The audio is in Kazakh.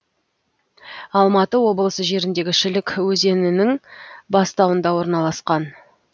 алматы облысы жеріндегі шілік өз нің бастауында орналасқан